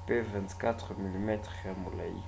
mpe 24 mm ya molai